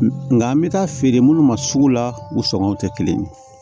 Nka n bɛ taa feere munnu ma sugu la u sɔngɔnw tɛ kelen ye